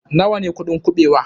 Nawa ne kuɗin kuɓewa?